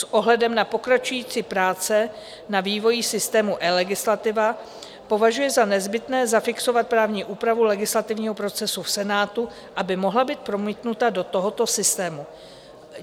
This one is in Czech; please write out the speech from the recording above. S ohledem na pokračující práce na vývoji systému eLegislativa považuji za nezbytné zafixovat právní úpravu legislativního procesu v Senátu, aby mohla být promítnuta do tohoto systému.